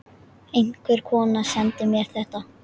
Einhver kona sendi mér þetta.